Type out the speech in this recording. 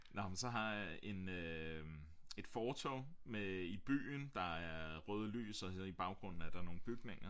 Nåh men så har jeg en øh et fortorv med i byen der er røde lys og så i baggrunden er der nogle bygninger